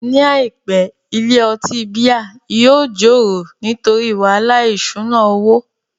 Ní àìpé, ilé ọtí bíà yóò joro nítorí wàhálà ìṣúná owó